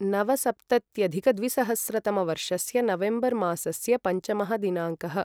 नवसप्तत्यधिकद्विसहस्रतमवर्षस्य November मासस्य पञ्चमः दिनाङ्कः